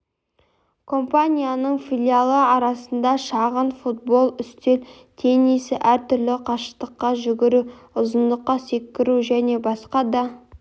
компанияның филиалы арасында шағын футбол үстел теннисі әр түрлі қашықтыққа жүгіру ұзындыққа секіру және басқа да